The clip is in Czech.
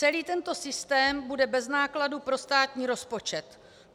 Celý tento systém bude bez nákladů pro státní rozpočet.